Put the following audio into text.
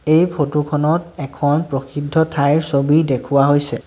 এই ফটোখনত এখন প্ৰসিদ্ধ ঠাইৰ ছবি দেখুওৱা হৈছে।